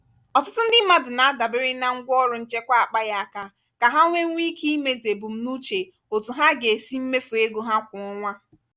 ọtụtụ ndị mmadụ na-adabere na ngwaọrụ nchekwa akpaghị aka ka ha nwewuo ike imezu ebumnuche otu ha ga-esi mmefu ego ha kwa ọnwa.